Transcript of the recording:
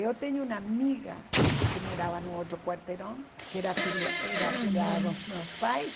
Eu tenho uma amiga que morava no outro quarteirão, que era filha era afilhada dos meus pais.